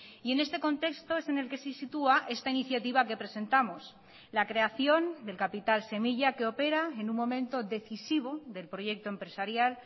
y en este contexto es en el que se sitúa esta iniciativa que presentamos la creación del capital semilla que opera en un momento decisivo del proyecto empresarial